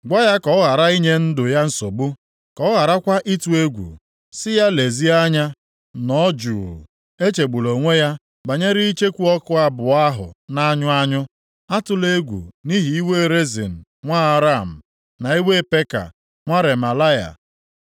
Gwa ya ka ọ ghara inye ndụ ya nsogbu, ka ọ gharakwa ịtụ egwu. Sị ya, ‘Lezie anya, nọ jụụ, echegbula onwe ya banyere icheku ọkụ abụọ ahụ na-anyụ anyụ. Atụla egwu nʼihi iwe Rezin nwa Aram, na iwe Peka nwa Remalaya.